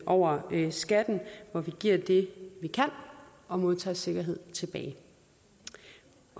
over skatten hvor vi giver det vi kan og modtager sikkerhed tilbage